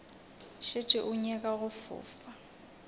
šetše o nyaka go fofa